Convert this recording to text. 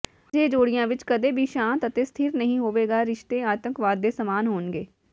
ਅਜਿਹੇ ਜੋੜਿਆਂ ਵਿੱਚ ਕਦੇ ਵੀ ਸ਼ਾਂਤ ਅਤੇ ਸਥਿਰ ਨਹੀਂ ਹੋਵੇਗਾ ਰਿਸ਼ਤੇ ਆਤੰਕਵਾਦ ਦੇ ਸਮਾਨ ਹੋਣਗੇ